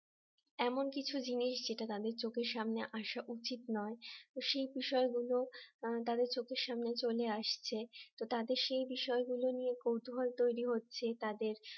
এমন কিছু জিনিস যেটা তাদের চোখের সামনে আসা উচিত নয় তো সেই বিষয়গুলো তাদের চোখের সামনে চলে আসছে তো তাদের সেই বিষয়গুলো নিয়ে কৌতুহল তৈরি হচ্ছে তাদের